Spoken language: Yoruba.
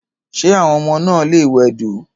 Ṣé àwọn ọmọ náà lè wẹdò..